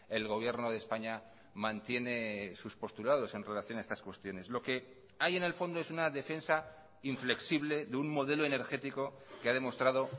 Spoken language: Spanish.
el gobierno de españa mantiene sus postulados en relación a estas cuestiones lo que hay en el fondo es una defensa inflexible de un modelo energético que ha demostrado